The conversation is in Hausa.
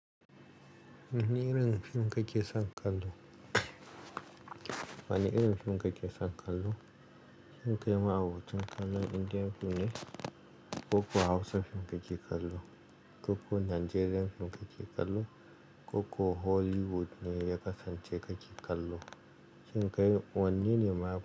Wani irin fim kake son kallo? Wane irin fim kake son kallo? Shin kai ma'abocin kalan Indian fim ne, ko ko Hausa fim kake kallo, ko ko Nigerian fim kake kallo, ko ko Hollywood ne ya kasance kake kallo. Shin kai wanne ne ma.